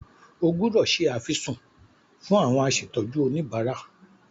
O gbúdọ̀ se àfisùn fún àwọn asètọ́jú oníbárà.